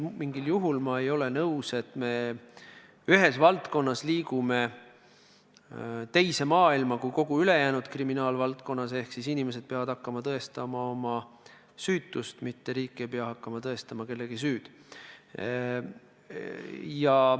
Mingil juhul ei ole ma nõus, et me ühes valdkonnas liigume muus suunas kui kogu ülejäänud kriminaalvaldkonnas ehk et inimesed peavad hakkama tõestama oma süütust, mitte riik ei pea hakkama tõestama kellegi süüd.